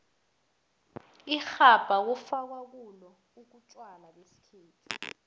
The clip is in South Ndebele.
irhabha kufakwa kulo utjwala besikhethu